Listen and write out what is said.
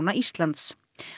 Íslands